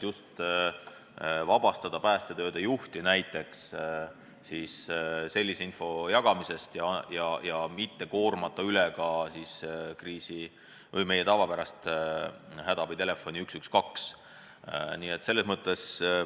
Just selleks, et vabastada päästetööde juht näiteks sellise info jagamisest ja mitte koormata üle ka meie tavapärast hädaabitelefoni 112.